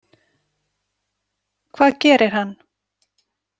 Hvað gerir hann?